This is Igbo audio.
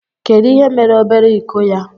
Kedu ihe mere obere iko ya.